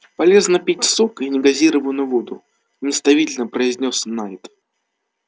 полезно пить сок и негазированную воду наставительно произнёс найд